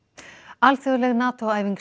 alþjóðleg NATO æfing